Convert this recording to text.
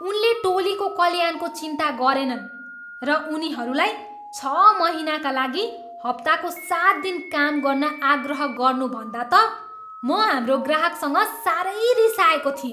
उनले टोलीको कल्याणको चिन्ता गरेनन् र उनीहरूलाई छ महिनाका लागि हप्ताको सात दिन काम गर्न आग्रह गर्नु भन्दा त म हाम्रो ग्राहकसँग साह्रै रिसाएको थिएँ।